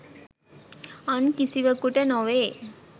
අන් කිසිවකුට නොවේ